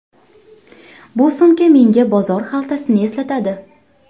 Bu sumka menga bozor xaltasini eslatadi.